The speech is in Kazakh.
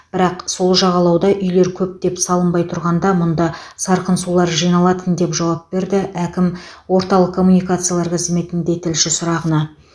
бірақ сол жағалауда үйлер көптеп салынбай тұрғанда мұнда сарқын сулар жиналатын деп жауап берді әкім орталық коммуникациялар қызметінде тілші сұрағына